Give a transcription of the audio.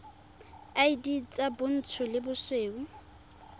id tsa bontsho le bosweu